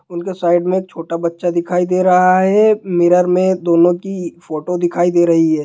उनके साइड में छोटा बच्चा दिखाई दे रहा है| मिरर में दोनों की फोटो दिखाई दे रही हैं।